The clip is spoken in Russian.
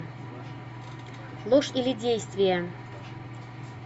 ложь или действие